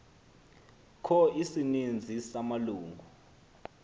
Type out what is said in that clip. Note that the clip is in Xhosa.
kho isininzi samalungu